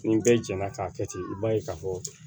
Ni bɛɛ jɛnna k'a kɛ ten i b'a ye k'a fɔ